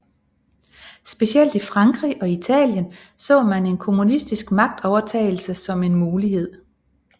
Specielt i Frankrig og Italien så man en kommunistisk magtovertagelse som en mulighed